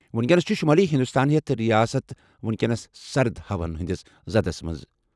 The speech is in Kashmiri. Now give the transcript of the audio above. وُنکیٚنَس چھِ شُمٲلی ہِنٛدُستان ہیٚتھ رِیاست وُنکیٚنَس سرد ہوہَن ہِنٛدِس زَدس منٛز۔